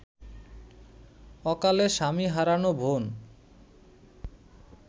অকালে স্বামী হারানো বোন